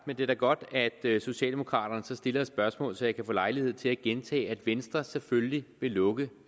men det er da godt at socialdemokraterne så stiller et spørgsmål så jeg kan få lejlighed til at gentage nemlig at venstre selvfølgelig vil lukke